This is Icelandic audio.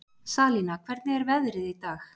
Salína, hvernig er veðrið í dag?